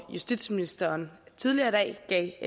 justitsministeren tidligere i dag